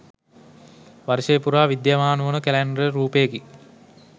වර්ෂය පුරා විද්‍යමාන වන ජනප්‍රිය කැලැන්ඩර් රූපයකි